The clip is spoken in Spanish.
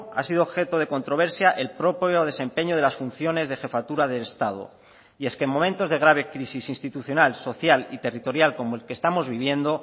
ha sido objeto de controversia el propio desempeño de las funciones de jefatura del estado y es que momentos de grabe crisis institucional social y territorial como el que estamos viviendo